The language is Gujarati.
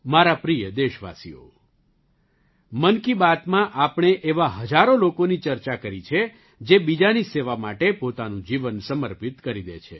મારા પ્રિય દેશવાસીઓ મન કી બાતમાં આપણે એવા હજારો લોકોની ચર્ચા કરી છે જે બીજાની સેવા માટે પોતાનું જીવન સમર્પિત કરી દે છે